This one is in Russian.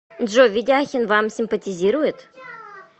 джой ведяхин вам симпатизирует